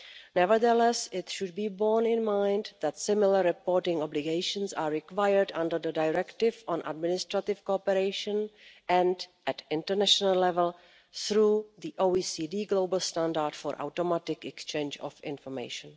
Nevertheless, it should be borne in mind that similar reporting obligations are required under the Directive on Administrative Cooperation and at international level through the OECD global Standard for Automatic Exchange of Financial Information.